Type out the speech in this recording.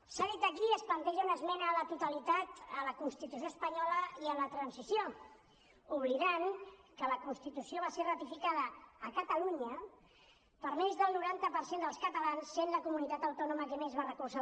s’ha dit aquí es planteja una esmena a la totalitat a la constitució espanyola i a la transició i obliden que la constitució va ser ratificada a catalunya per més del noranta per cent dels catalans és la comunitat autònoma que més la va recolzar